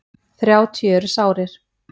Þrjátíu eru sárir.